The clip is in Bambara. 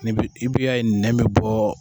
I b'a ye nɛn be bɔ.